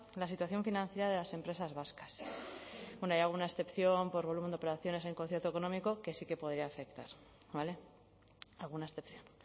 la situación financiera de las empresas vascas bueno hay alguna excepción por volumen de operaciones en concierto económico que sí que podría afectar vale alguna excepción